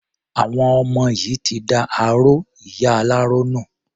Àwọn ọmọ yìí ti da aró ìyá aláró nù.